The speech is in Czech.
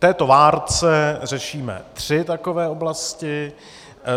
V této várce řešíme tři takové oblasti.